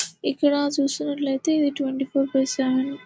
ఇక్కడ చూసినట్లయితే ఇది ట్వంటీ ఫోర్ బై సెవెన్ .